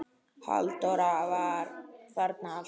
Halldór var þarna alltaf.